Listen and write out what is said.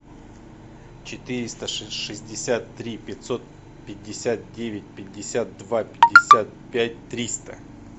четыреста шестьдесят три пятьсот пятьдесят девять пятьдесят два пятьдесят пять триста